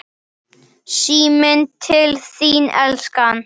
Síminn til þín, elskan!